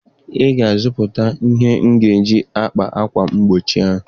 Ị ga-azụta ihe m ji akpa akwa mgbochi oyi!